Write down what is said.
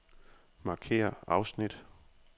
Markér afsnit.